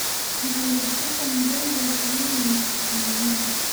maxay lupita ngongo samaynayso maalmahan